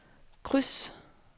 kryds